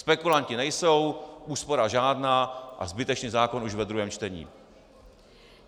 Spekulanti nejsou, úspora žádná a zbytečný zákon už ve druhém čtení.